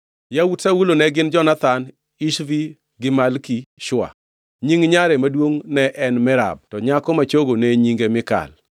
Yawuot Saulo ne gin Jonathan, Ishvi, gi Malki-Shua. Nying nyare maduongʼ ne en Merab to nyako ma chogo ne nyinge Mikal.